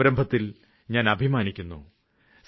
ആ സംരംഭത്തില് ഞാന് അഭിമാനിക്കുന്നു